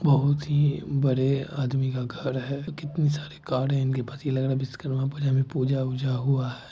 बहुत ही बड़े आदमी का घर है कितने सारे कारे है इनके पास ये लग रहा है विश्वकर्मा पूजा में पूजा-उजा हुआ है।